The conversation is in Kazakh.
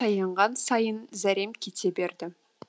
аянған сайын зәрем кете берді